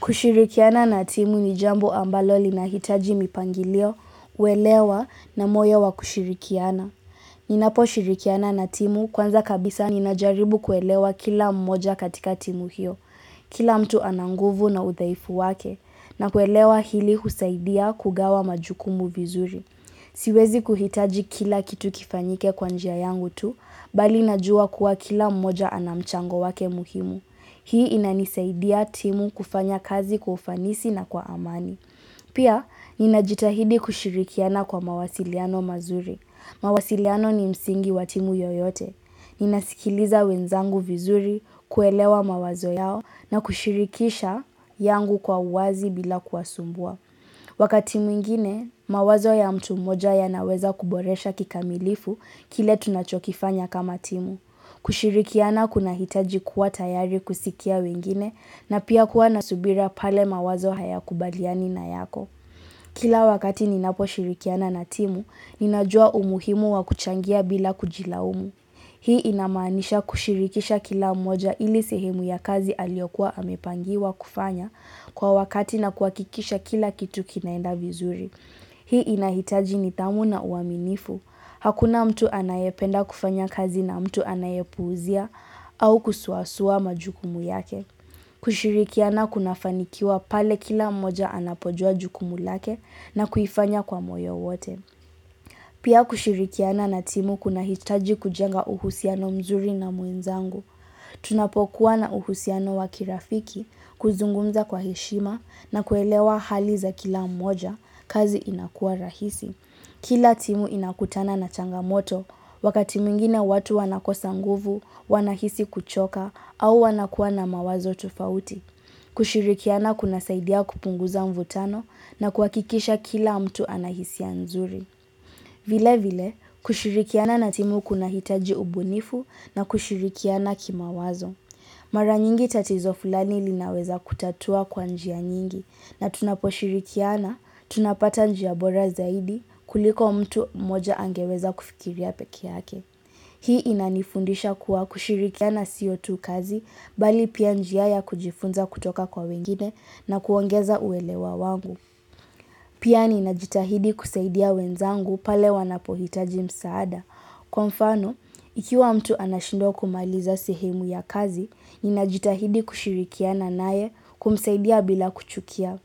Kushirikiana na timu ni jambo ambalo linahitaji mipangilio, uelewa na moyo wa kushirikiana. Ninaposhirikiana na timu, kwanza kabisa ninajaribu kuelewa kila mmoja katika timu hiyo. Kila mtu ana nguvu na udhaifu wake, na kuelewa hili husaidia kugawa majukumu vizuri. Siwezi kuhitaji kila kitu kifanyike kwa njia yangu tu, bali najuwa kuwa kila mmoja ana mchango wake muhimu. Hii inanisaidia timu kufanya kazi kwa ufanisi na kwa amani. Pia, ninajitahidi kushirikiana kwa mawasiliano mazuri. Mawasiliano ni msingi wa timu yoyote. Ninasikiliza wenzangu vizuri, kuelewa mawazo yao na kushirikisha yangu kwa uwazi bila kuwasumbua. Wakati mwingine, mawazo ya mtu mmoja yanaweza kuboresha kikamilifu kile tunachokifanya kama timu. Kushirikiana kunahitaji kuwa tayari kusikia wengine na pia, kuwa na subira pale mawazo hayakubaliani na yako. Kila wakati ninaposhirikiana na timu, ninajuwa umuhimu wa kuchangia bila kujilaumu. Hii inamanisha kushirikisha kila mmoja ili sehemu ya kazi aliyokua amepangiwa kufanya kwa wakati na kuhakikisha kila kitu kinaenda vizuri. Hii inahitaji nidhamu na uaminifu. Hakuna mtu anayependa kufanya kazi na mtu anayepuuzia au kusuasua majukumu yake. Kushirikiana kunafanikiwa pale kila mmoja anapojuwa jukumu lake na kuifanya kwa moyo wote. Pia, kushirikiana na timu kunahitaji kujenga uhusiano mzuri na mwenzangu. Tunapokuwa na uhusiano wa kirafiki, kuzungumza kwa heshima na kuelewa hali za kila mmoja, kazi inakuwa rahisi. Kila timu inakutana na changamoto, wakati mwingine watu wanakosa nguvu, wanahisi kuchoka au wanakuwa na mawazo tofauti. Kushirikiana kunasaidia kupunguza mvutano na kuhakikisha kila mtu anahisia nzuri. Vilevile, kushirikiana na timu kunahitaji ubunifu na kushirikiana kimawazo. Mara nyingi tatizo fulani linaweza kutatua kwa njia nyingi na tunaposhirikiana, tunapata njia bora zaidi kuliko mtu mmoja angeweza kufikiria pekee yake. Hii inanifundisha kuwa kushirikiana sio tu kazi bali pia, njia ya kujifunza kutoka kwa wengine na kuongeza uelewa wangu. Pia ninajitahidi kusaidia wenzangu pale wanapohitaji msaada. Kwa mfano, ikiwa mtu anashindwa kumaliza sehemu ya kazi, ninajitahidi kushirikiana naye kumsaidia bila kuchukia.